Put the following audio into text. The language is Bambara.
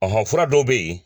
fura dɔw bɛyi.